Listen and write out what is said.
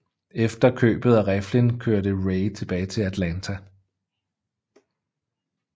Efter købet af riflen kørte Ray tilbage til Atlanta